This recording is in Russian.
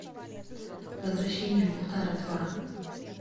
возвращение мухтара два